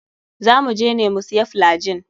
Za muje ne mu siya flygin.